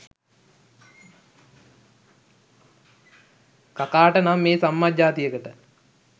කකාට නම් මේ සම්මජ්ජාතියකට